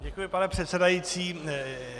Děkuji, pane předsedající.